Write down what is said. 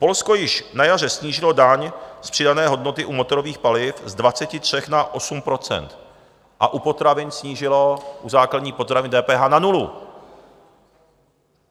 Polsko již na jaře snížilo daň z přidané hodnoty u motorových paliv z 23 na 8 % a u potravin snížilo - u základních potravin - DPH na nulu.